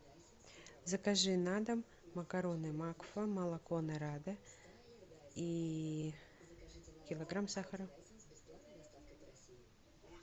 закажи на дом макароны макфа молоко нарада и килограмм сахара